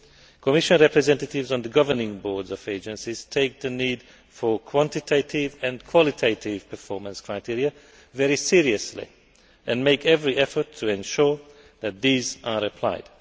The Commission representatives on the governing boards of agencies take the need for quantitative and qualitative performance criteria very seriously and make every effort to ensure that they are applied.